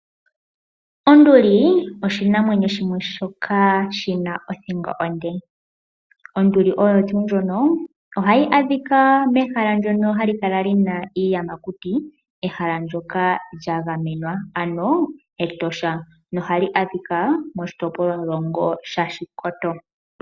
Onduli oshinamwenyo shimwe shoka shina othingo onde. Onduli oyo tuu ndjono ohayi adhika mehala ndyono hali kala lina iiyamakuti, ehala ndyoka lya gamenwa ano Etosha, ndyoka hali adhika moshitopolwa shaOshikoto.